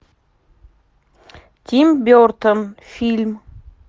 тим бертон фильм